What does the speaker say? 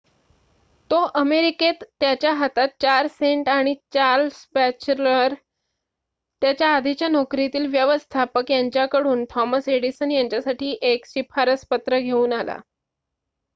तो अमेरिकेत त्याच्या हातात 4 सेंट आणि चार्ल्स बॅचलर त्याच्या आधीच्या नोकरीतील व्यवस्थापक यांच्या कडून थॉमस एडिसन यांच्यासाठी एक शिफारसपत्र घेऊन आला